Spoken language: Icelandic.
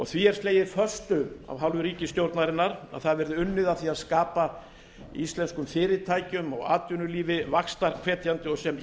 því er slegið föstu af hálfu ríkisstjórnarinnar að unnið verði að því að skapa íslenskum fyrirtækjum og atvinnulífi vaxtarhvetjandi og sem